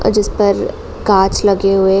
जिस पर काँच लगे हुए --